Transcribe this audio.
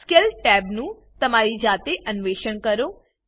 scale tab નું તમારી જાતે અન્વેષણ કરો